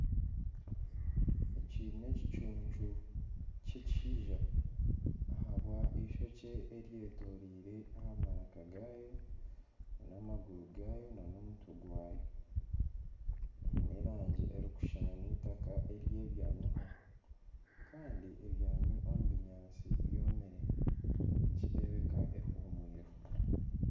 Eki n'ekicuncu kyekishaija ahabwa ebyoya ebyetoreire aha maraka gaakyo nana amaguru gaayo nana omutwe gwayo kiine erangi erikushushana n'emitaka ery'ebyamiho kandi ebyemami omu binyatsi byomire nikireebeka ehuumwireho